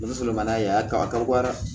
n'a ye a ka dɔgɔ dɛ